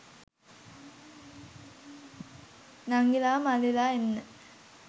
නංගිලා මල්ලිලා එන්න